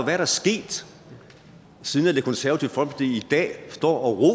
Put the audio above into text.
er der sket siden det konservative folkeparti i dag står og